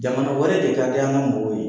Jamana wɛrɛ de ka di an ka mɔgɔw ye.